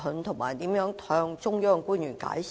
他會如何向中央官員解釋？